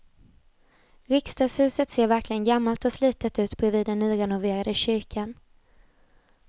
Riksdagshuset ser verkligen gammalt och slitet ut bredvid den nyrenoverade kyrkan.